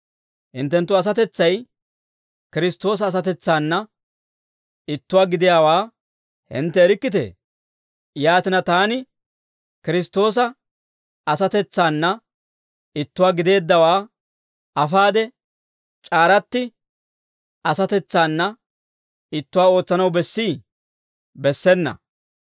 Hinttenttu asatetsay Kiristtoosa asatetsaana ittuwaa gidiyaawaa hintte erikkitee? Yaatina, taani Kiristtoosa asatetsaana ittuwaa gideeddawaa afaade, c'aaratti asatetsaana ittuwaa ootsanaw bessii? Bessena!